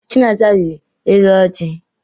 Chinasa rịrị elu ọjị.